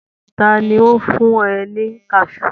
Ta ni ó fún ọ ní kaṣú?